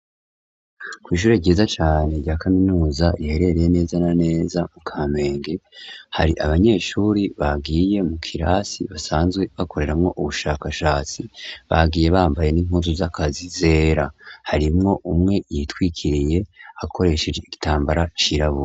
kwishure ryiza cane rya kaminuza riherereye neza na neza mu kamenge, hari abanyeshuri bagiye mu kirasi basanzwe bakoreramwo ubushakashatsi bagiye bambaye n'inpuzu z'akazi zera. Harimwo umwe yitwikiriye akoresheje igitambara cirabura.